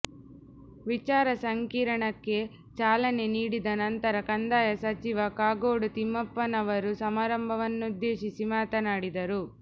ವಿಚಾರ ಸಂಕಿರಣಕ್ಕೆ ಚಾಲನೆ ನೀಡಿದ ನಂತರ ಕಂದಾಯ ಸಚಿವ ಕಾಗೋಡು ತಿಮ್ಮಪ್ಪನವರು ಸಮಾರಂಭವನ್ನುದ್ದೇಶಿಸಿ ಮಾತನಾಡಿದರು